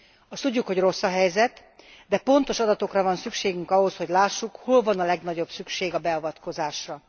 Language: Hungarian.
Azt tudjuk, hogy rossz a helyzet, de pontos adatokra van szükségünk ahhoz, hogy lássuk, hol van a legnagyobb szükség a beavatkozásra.